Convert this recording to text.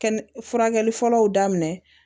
Kɛnɛ furakɛli fɔlɔw daminɛ